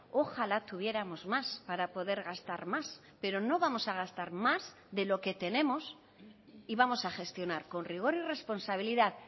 ojalá tuviéramos más para poder gastar más pero no vamos a gastar más de lo que tenemos y vamos a gestionar con rigor y responsabilidad